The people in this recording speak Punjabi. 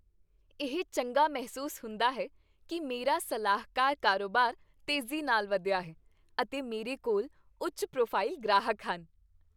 ਇਹ ਚੰਗਾ ਮਹਿਸੂਸ ਹੁੰਦਾ ਹੈ ਕੀ ਮੇਰਾ ਸਲਾਹਕਾਰ ਕਾਰੋਬਾਰ ਤੇਜ਼ੀ ਨਾਲ ਵਧਿਆ ਹੈ, ਅਤੇ ਮੇਰੇ ਕੋਲ ਉੱਚ ਪ੍ਰੋਫਾਈਲ ਗ੍ਰਾਹਕ ਹਨ